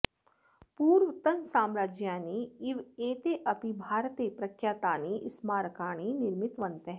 पूर्वतनसाम्राज्यानि इव एते अपि भारते प्रख्यातानि स्मारकाणि निर्मितवन्तः